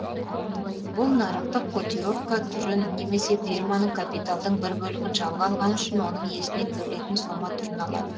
бұл нарықтық котировка түрін немесе фирманың капиталдың бір бөлігін жалға алғаны үшін оның иесіне төлейтін сома түрін алады